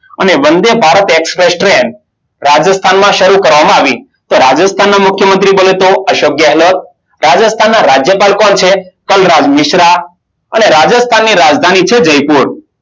અને Vande Bharat express train રાજસ્થાનમાં શરૂ કરવામાં આવી. તો રાજસ્થાનના મુખ્યમંત્રી બોલે તો અશોક ગેહલોત. રાજસ્થાનના રાજ્યપાલ કોણ છે કલરાજ મિશ્રા અને રાજસ્થાની રાજધાની છે જયપુર.